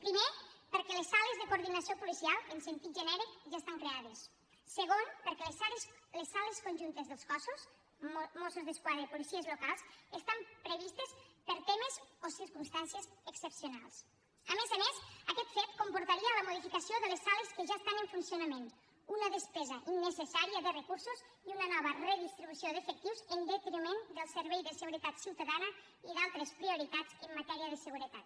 primer perquè les sales de coordinació policial en sentit genèric ja estan creades segon perquè les sales conjuntes dels cossos mossos d’esquadra i policies locals estan previstes per a temes o circumstàncies excepcionals a més a més aquest fet comportaria la modificació de les sales que ja estan en funcionament una despesa innecessària de recursos i una nova redistribució d’efectius en detriment del servei de seguretat ciutadana i d’altres prioritats en matèria de seguretat